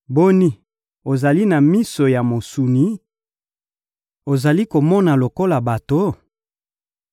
Boni, ozali na miso ya mosuni? Ozali komona lokola bato?